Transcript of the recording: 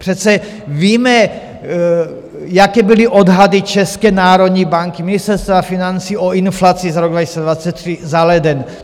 Přece víme, jaké byly odhady České národní banky, Ministerstva financí o inflaci za rok 2023 za leden.